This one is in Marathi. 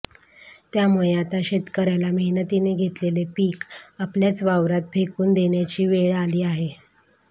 त्यामुळे आता शेतकऱ्याला मेहनतीने घेतलेले पिक आपल्याच वावरात फेकून देण्याची वेळ आली आहे